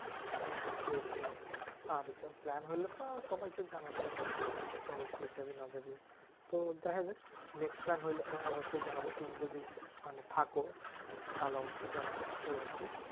হ্যাঁ হ্যাঁ sure sure. আর যা plan হইলে তো সবাইকে জানানোই হয় যে চল কে জাবি না জাবি? তো দেখাযাক next plan হইলে তোমায় অবশ্যই জানাবো। তুমি যদি মানে থাকো তাহলে অবশ্যই জানাবো এই আরকি।